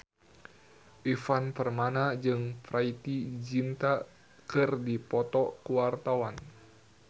Ivan Permana jeung Preity Zinta keur dipoto ku wartawan